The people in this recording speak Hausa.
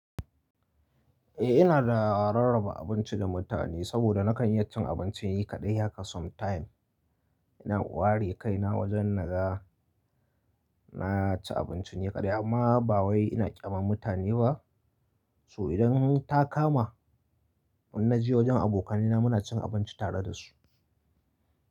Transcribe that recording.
Eh ina raraba abinci da mutane saboda nakan iya cin abinci ni kaɗai haka sometime. Ina ware kaina wajen na ga na ci abinci ne kaɗai amma ba wai ina ƙyamar mutane ba. So idan ta kama ina je wajen abokanai na muna cin abinci tare da su.